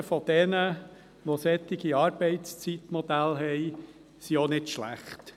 Die Erfahrungen derjenigen, die solche Arbeitszeitmodelle haben, sind auch nicht schlecht.